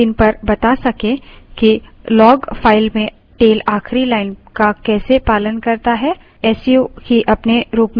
tail आपको एक ही screen पर बता सकें कि log file में tail आखिरी line का कैसे पालन करता है